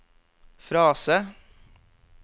frase